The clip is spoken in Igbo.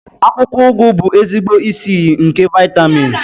Akwụkwọ ugu bụ ezigbo isi iyi nke vitamin.